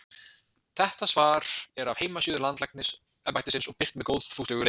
þetta svar er af heimasíðu landlæknisembættisins og birt með góðfúslegu leyfi